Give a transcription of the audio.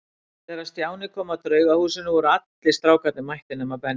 Þegar Stjáni kom að Draugahúsinu voru allir strákarnir mættir nema Benni.